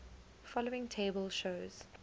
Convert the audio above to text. following table shows